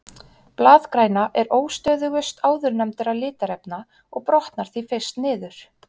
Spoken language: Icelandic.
Blaðgræna er óstöðugust áðurnefndra litarefna og brotnar því fyrst niður.